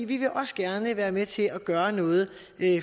vi vil også gerne være med til at gøre noget